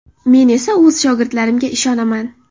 Men esa o‘z shogirdlarimga ishonaman.